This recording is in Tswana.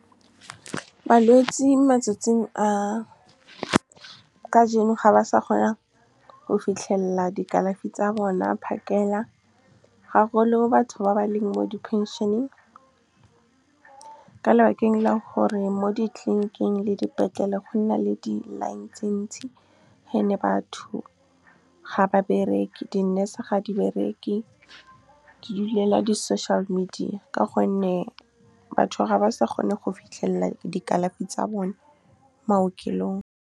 Balwetse matsatsing a kajeno, ga ba sa kgona go fitlhelela di kalafi tsa bona phakela, ga golo batho ba ba leng mo di phenšeneng, ka lebakeng la gore mo ditleniking le dipetlele go nna le di-line tse ntsi. And-e batho ga ba bereke, di-nurse ga di bereke, di dulela di-social media, ka gonne batho ga ba sa kgone go fitlhelela di kalafi tsa bone maokelong. Balwetse matsatsing a kajeno, ga ba sa kgona go fitlhelela di kalafi tsa bona phakela, ga golo batho ba ba leng mo di phenšeneng, ka lebakeng la gore mo ditleniking le dipetlele go nna le di-line tse ntsi. And-e batho ga ba bereke, di-nurse ga di bereke, di dulela di-social media, ka gonne batho ga ba sa kgone go fitlhelela di kalafi tsa bone maokelong.